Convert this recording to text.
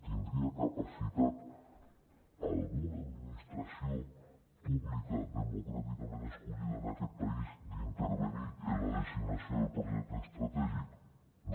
tindria capacitat alguna administració pública democràticament escollida en aquest país d’intervenir en la designació del projecte estratègic no